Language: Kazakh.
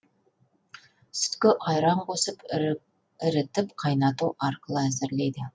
сүтке айран қосып ірітіп қайнату арқылы әзірлейді